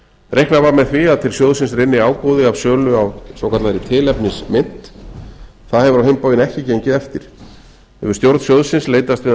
reiknað var með að til sjóðsins rynni ágóði af sölu á svokallaðri tilefnismynt það hefur á hinn bóginn ekki gengið eftir hefur stjórn sjóðsins leitast við að